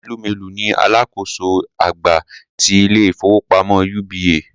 Tony Elumelu ni alákòóso àgbà ti ilé-ìfowópamọ́ UBA.